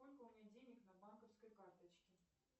сколько у меня денег на банковской карточке